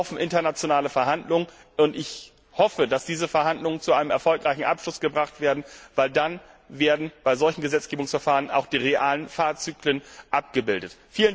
Hier laufen internationale Verhandlungen, und ich hoffe, dass diese Verhandlungen zu einem erfolgreichen Abschluss gebracht werden, denn dann werden bei solchen Gesetzgebungsverfahren auch die realen Fahrzyklen abgebildet.